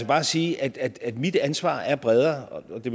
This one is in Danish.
bare sige at at mit ansvar er bredere det